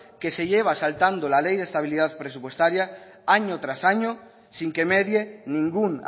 que se lleva saltando la ley de estabilidad presupuestaria año tras año sin que medie ningún